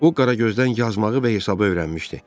O qara gözdən yazmağı və hesabı öyrənmişdi.